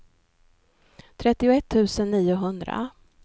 trettioett tusen niohundra